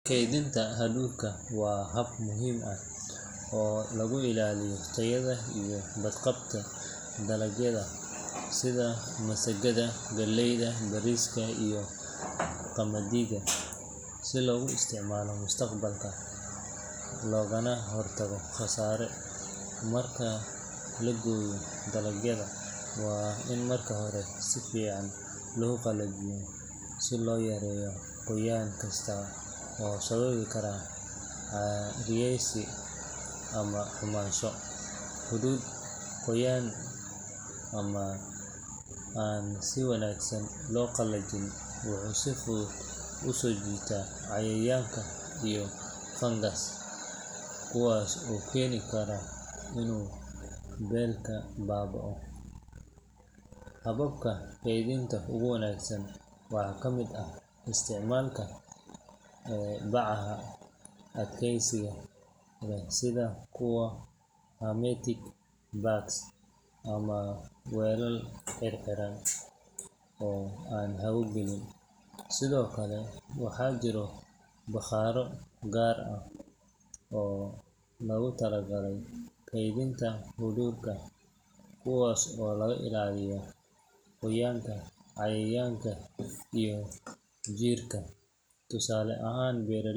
Kedinta xamulka waa hab muhiim ah oo lagu ilaliyo tayaada baad qabta dalagyaada sitha masagaada galeyda iyo qamadidha, waa marka hore laqalaliyo, kuwas oo keni kara hababka kedhinta ogu wanagsan waxaa kamiid ah bacda, sithokale waxaa jiro baqaraado oo logu tala gale kuwas oo qoyanka cayayanka yerta tusale ahan .